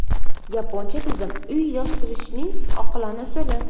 Yaponcha tizim: uy yig‘ishtirishning oqilona usuli.